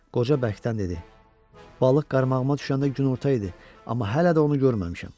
Qoca bərkdən dedi: "Balıq qarmağıma düşəndə günorta idi, amma hələ də onu görməmişəm."